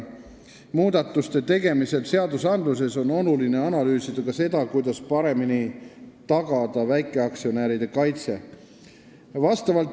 Muudatuste tegemisel seadustes on oluline analüüsida ka seda, kuidas paremini tagada väikeaktsionäride kaitse.